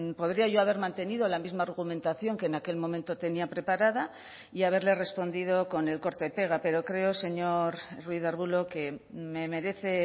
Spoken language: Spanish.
podría yo haber mantenido la misma argumentación que en aquel momento tenía preparada y haberle respondido con el corta y pega pero creo señor ruiz de arbulo que me merece